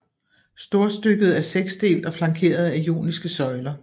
Storstykket er seksdelt og flankeret af joniske søjler